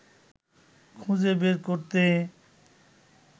খুঁজে বের করতে